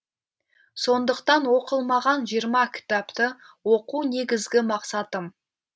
сондықтан оқылмаған жиырма кітапты оқу негізгі мақсатым